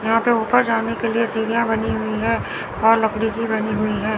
यहां पर ऊपर जाने के लिए सीढ़ियां बनी हुई है और लकड़ी की बनी हुई है।